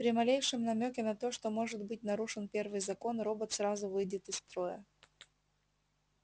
при малейшем намёке на то что может быть нарушен первый закон робот сразу выйдет из строя